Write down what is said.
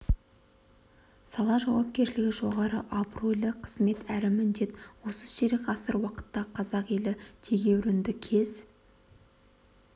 сала жауапкершілігі жоғары абыройлы қызмет әрі міндет осы ширек ғасыр уақытта қазақ елі тегеурінді кез